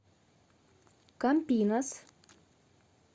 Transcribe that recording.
кампинас